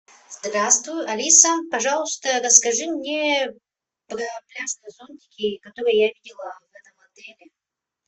здравствуй алиса пожалуйста расскажи мне про пляжные зонтики которые я видела в этом отеле